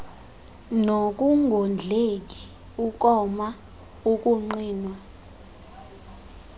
nokungondleki ukoma ukuqhinwa